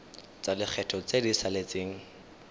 tsa lekgetho tse di saletseng